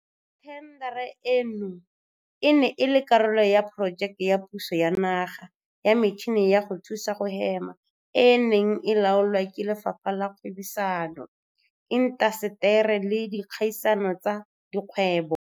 Thendara eno e ne e le karolo ya Porojeke ya puso ya Naga ya Metšhini ya go Thusa go Hema e e neng e laolwa ke Lefapha la Kgwebisano, Intaseteri le Dikgaisano tsa Dikgwebo.